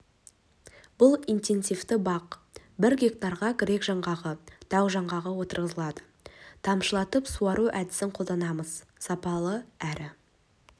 бұл интенсивті бақ бір гектарға грек жаңғағы тау жаңғағы отырғызылады тамшылатып суару әдісін қолданамыз сапалы әрі